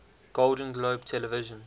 golden globe television